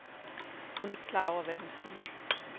Hun er ikke klar over, hvad hun siger.